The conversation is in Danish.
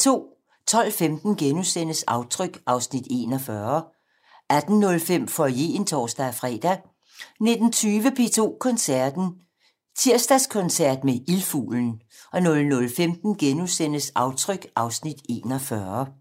12:15: Aftryk (Afs. 41)* 18:05: Foyeren (tor-fre) 19:20: P2 Koncerten - Torsdagskoncert med Ildfuglen 00:15: Aftryk (Afs. 41)*